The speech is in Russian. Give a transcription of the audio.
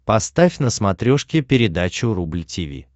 поставь на смотрешке передачу рубль ти ви